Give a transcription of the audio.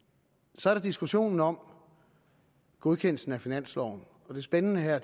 så er der diskussionen om godkendelsen af finansloven og det spændende her